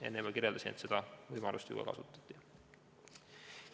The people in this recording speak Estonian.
" Enne ma juba kirjeldasin, et seda võimalust ka kasutati.